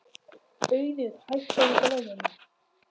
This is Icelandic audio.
Auður, hækkaðu í græjunum.